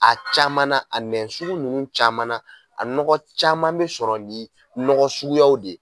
A caman na a nɛ sugu ninnu caman na a nɔgɔ caman bɛ sɔrɔ nin nɔgɔ suguyaw de ye.